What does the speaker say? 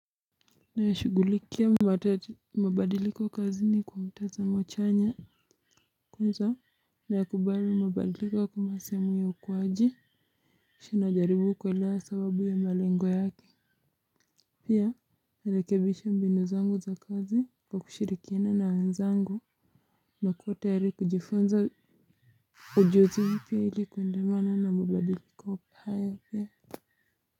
Nayashughulikia mabadiliko kazini kwa mtazamo chanya kwanza nayakubali mabadiliko kama sehemu ya ukuaji kisha najaribu kuelewa sababu ya malengo yake pia narekebisha mbinu zangu za kazi kwa kushirikiana na wenzangu nakuwa tayari kujifunza ujuzi mpya ili kuendana na mabadiliko haya pia.